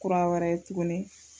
Kura wɛrɛ tuguni